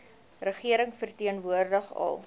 regering verteenwoordig al